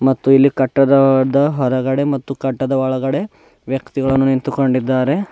ಮತ್ತು ಇಲ್ಲಿ ಕಟ್ಟದದ ಹೊರಗಡೆ ಮತ್ತು ಕಟ್ಟದ ಒಳಗಡೆ ವ್ಯಕ್ತಿಗಳನ್ನು ನಿಂತುಕೊಂಡಿದ್ದಾರೆ.